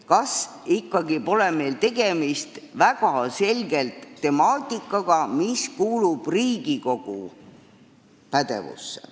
Kas meil pole siiski tegemist väga selge temaatikaga, mis kuulub Riigikogu pädevusse?